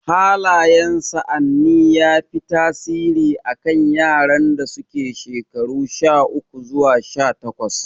Hallayen sa'anni ya fi tasiri a kan yaran da suke shekaru sha uku zuwa sha takwas